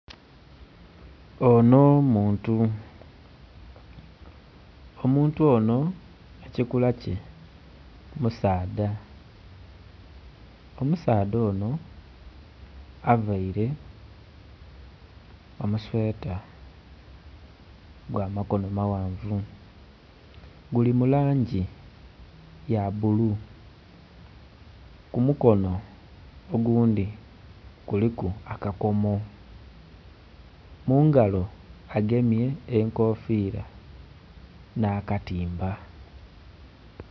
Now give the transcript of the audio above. Onho muntu, omuntu onho ekikula kye musaadha Omusaadha onho availe omusweta gwa makonho maghanvu. Guli mu langi ya bulu. Ku mukonho ogundhi kuliku akakomo, mu ngalo agemye enkofiira nh'akatimba.